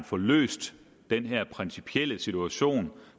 få løst den her principielle situation